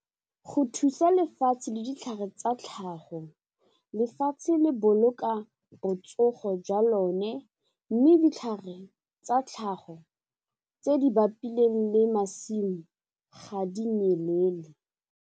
Go thusa lefatshe le ditlhare tsa tlhago, lefatshe le boloka botsogo jwa lone mme ditlhare tsa tlhago tse di bapileng le masimo ga di nyelele.